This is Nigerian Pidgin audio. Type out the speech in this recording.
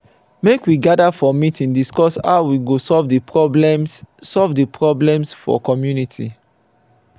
make we gather for meeting discuss how we go solve the problems solve the problems for community.